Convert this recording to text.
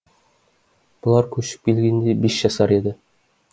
бұлар көшіп келгенде бес жасар еді